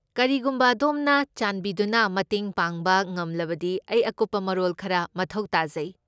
ꯀꯔꯤꯒꯨꯝꯕ ꯑꯗꯣꯝꯅ ꯆꯥꯟꯕꯤꯗꯨꯅ ꯃꯇꯦꯡ ꯄꯥꯡꯕ ꯉꯝꯂꯕꯗꯤ ꯑꯩ ꯑꯀꯨꯞꯄ ꯃꯔꯣꯜ ꯈꯔ ꯃꯊꯧ ꯇꯥꯖꯩ꯫